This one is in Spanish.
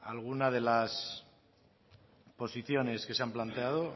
alguna de las posiciones que se han planteado